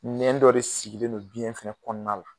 Ɲɛn dɔ de sigilen don biyɛn fɛnɛ kɔɔna la